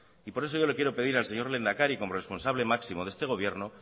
y por eso yo le quiero pedir al señor lehendakari como responsable máximo de este gobierno